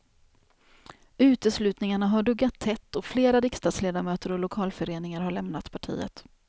Uteslutningarna har duggat tätt och flera riksdagsledamöter och lokalföreningar har lämnat partiet.